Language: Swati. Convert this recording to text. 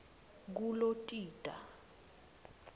kulotita